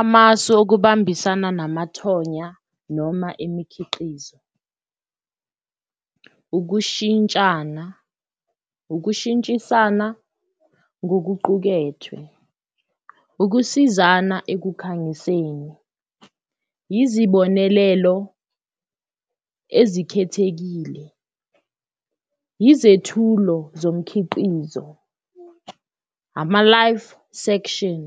Amasu okubambisana namathonya noma imikhiqizo ukushintshana, ukushintshisana ngokuqukethwe, ukusizana ekukhangiseni, izibonelelo ezikhethekile, izethulo zomkhiqizo, ama-live section,